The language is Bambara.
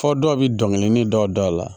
Fɔ dɔw bi dɔnkili dɔw da la